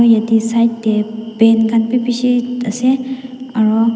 aru yatae side tae pen khan bi bishi ase aro.